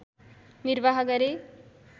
निर्वाह गरे